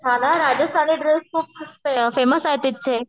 हां ना राजस्थानी ड्रेस खूप फेमस आहेत तिथंचे